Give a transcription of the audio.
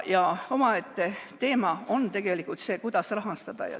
Omaette teema on tegelikult see, kuidas rahastada.